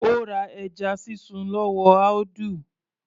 Ó ra ẹja sísun lọ́wọ́ Audu